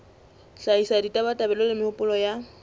hlahisa ditabatabelo le mehopolo ya